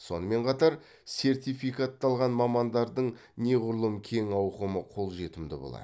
сонымен қатар сертификатталған мамандардың неғұрлым кең ауқымы қолжетімді болады